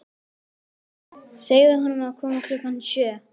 Segðu honum að koma klukkan sjö.